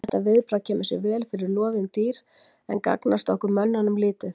Þetta viðbragð kemur sér vel fyrir loðin dýr en gagnast okkur mönnunum lítið.